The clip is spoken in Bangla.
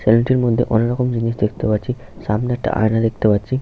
স্যালুন -টির মধ্যে অনেকরকম জিনিস দেখতে পাচ্ছি সামনে একটা আয়না দেখতে পাচ্ছি।